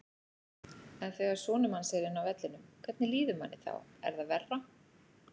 En þegar sonur manns er inni á vellinum, hvernig líður manni þá, er það verra?